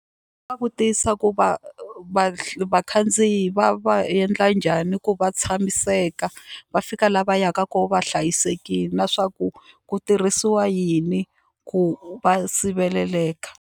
Va vutisa ku va va vakhandziyi va va endla njhani ku va tshamiseka va fika laha va yaka kona va hlayisekile na swa ku ku tirhisiwa yini ku va siveleleka.